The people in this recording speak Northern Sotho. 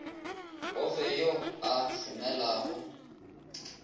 o fe yo a šomelago